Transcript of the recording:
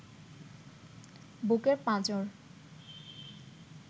বুকের পাঁজর